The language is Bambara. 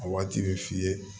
A waati bɛ f'i ye